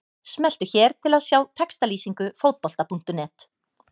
Smelltu hér til að sjá textalýsingu Fótbolta.net.